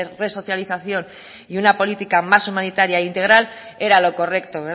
resocialización y una política más humanitaria e integral era lo correcto